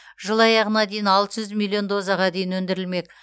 жыл аяғына дейін алты жүз миллион дозаға дейін өндірілмек